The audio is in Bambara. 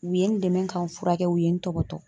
U ye n dɛmɛ ka n furakɛ u ye n tɔgɔtɔ.